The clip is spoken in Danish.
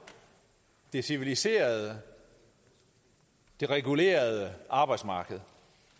det civiliserede det regulerede arbejdsmarked